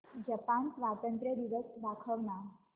Japan स्वातंत्र्य दिवस दाखव ना